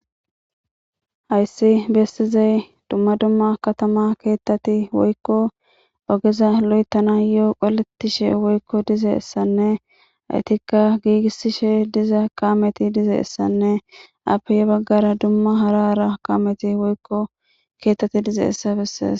Hayssi bestizay dumma dumma katama keettati woykko ogeza lo'etana yoo qolettishe woykko dize essanne haytikka giigisishe diza kaameti dize essanne appeye baggara dumma harara kaameti woykko keettati diza essa bessees.